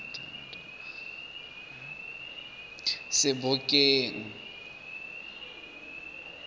sebokeng